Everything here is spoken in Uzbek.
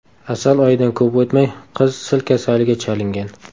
Asal oyidan ko‘p o‘tmay, qiz sil kasaliga chalingan.